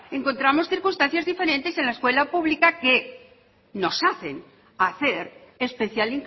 encontramos circunstancias diferentes en la escuela pública que nos hacen hacer especial